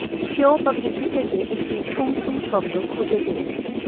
কেউ বা কিছু থেকে একটি ঠুং ঠুং শব্দ খুঁজে পেতে